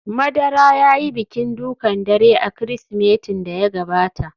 Madara ya yi bikin dukan dare a Kirsimetin da ya gabata